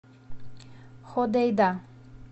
ходейда